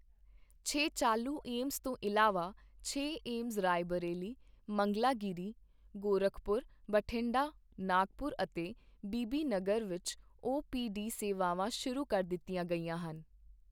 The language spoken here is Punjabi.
ਛੇ ਚਾਲੂ ਏਮਜ਼ ਤੋਂ ਇਲਾਵਾ ਛੇ ਏਮਜ਼ ਰਾਏਬਰੇਲੀ, ਮੰਗਲਾਗਿਰੀ, ਗੋਰਖਪੁਰ, ਬਠਿੰਡਾ, ਨਾਗਪੁਰ ਅਤੇ ਬੀਬੀਨਗਰ ਵਿੱਚ ਓ ਪੀ ਡੀ ਸੇਵਾਵਾਂ ਸ਼ੁਰੂ ਕਰ ਦਿੱਤੀਆਂ ਗਈਆਂ ਹਨ।